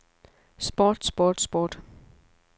sport sport sport